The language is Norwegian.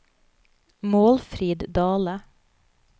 Målfrid Dahle